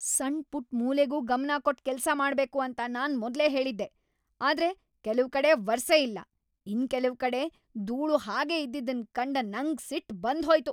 ಸಣ್ ಪುಟ್ ಮೂಲೆಗೂ ಗಮನ ಕೊಟ್ ಕೆಲ್ಸ ಮಾಡ್ಬೇಕು ಅಂತ ನಾನ್ ಮೊದ್ಲೇ ಹೇಳಿದ್ದೆ ಆದ್ರೆ ಕೆಲವ್ ಕಡೆ ವರ್ಸೆ ಇಲ್ಲ ಇನ್ ಕೆಲವ್ ಕಡೆ ದೂಳು ಹಾಗೆ ಇದ್ದಿದನ್ ಕಂಡ ನಂಗ್ ಸಿಟ್ ಬಂದ್ ಹೋಯ್ತು.